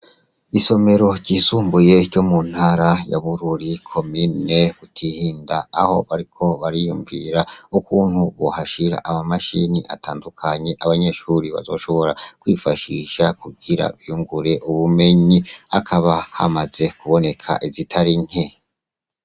Isomero ryisumbuye ryo mu ntara ya Bururi, komine Butihinda aho bariko bariyumvira ukuntu bohashira akamashini atandukanye abanyeshure bazoshobora kwifashisha kugira biyungure ubumenyi. Hakaba hamaze uboneka izitari nke.